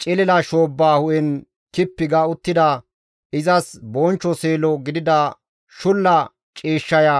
Cilila shoobba hu7en kippi ga uttida izas bonchcho seelo gidida shulla ciishshaya,